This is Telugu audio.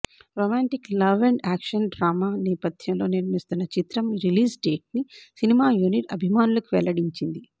romantic love and action drama నేపధ్యంగా నిర్మిస్తున్న చిత్రం రిలీజ్ డేట్ను సినిమా యూనిట్ అభిమానులకు వెల్లడించింది